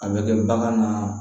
A bɛ kɛ bagan na